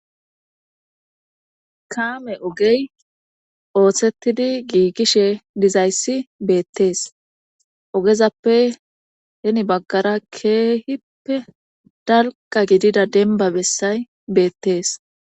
Kaame ogey oosettdi giigishe dizayssa beettes Ogezappe heni baggara keehippe dalgga gidida dembbabessay beettees.